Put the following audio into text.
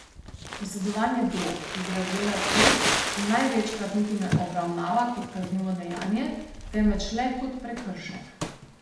Posedovanje drog iz razreda C se največkrat niti ne obravnava kot kaznivo dejanje, temveč le kot prekršek.